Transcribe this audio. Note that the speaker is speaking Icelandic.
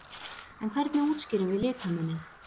En hvernig útskýrum við litamuninn?